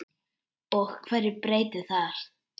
Og hverju breytir það?